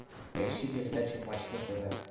поищи передачу матч на тв